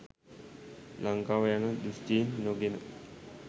ලංකාව යන දෘශ්ටීන් නොගෙන